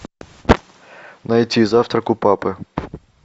найти завтрак у папы